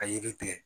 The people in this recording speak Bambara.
A yiri tigɛ